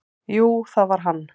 """Jú, það var hann!"""